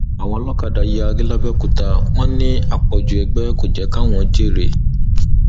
àwọn olókàdá yarí làbẹòkúta wọn ní àpọjù ẹgbẹ kò jẹ káwọn jèrè